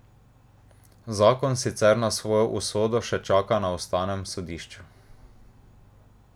Zakon sicer na svojo usodo še čaka na ustavnem sodišču.